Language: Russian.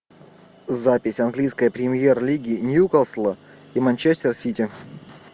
запись английской премьер лиги ньюкасла и манчестер сити